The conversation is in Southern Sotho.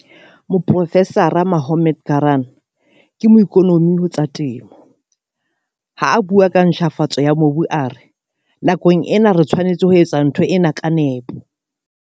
Moprofesara Mohammad Karaan ke moikonomi ho tsa temo. Ha a bua ka ntjhafatso ya mobu a re- Nakong ena re tshwanetse ho etsa ntho ena ka nepo.